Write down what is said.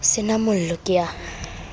se na mollo ke a